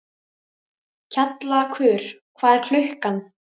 Kjallakur, hvað er klukkan?